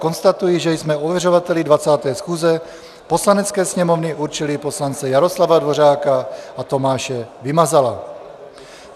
Konstatuji, že jsme ověřovateli 20. schůze Poslanecké sněmovny určili poslance Jaroslava Dvořáka a Tomáše Vymazala.